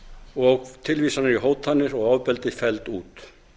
og tilvísanir í hótanir og ofbeldi felld út